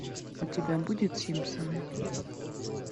у тебя будет симпсоны